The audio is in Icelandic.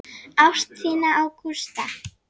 Ást þína á Gústa.